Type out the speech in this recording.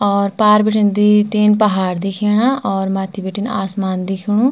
और पार बिटेन द्वि-तीन पहाड़ दिख्येणा और मथ्थी बिटेन आसमान दिखेणु।